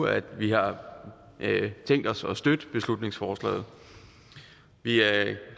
at vi har tænkt os at støtte beslutningsforslaget vi er